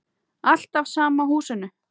Alltaf sama húsinu.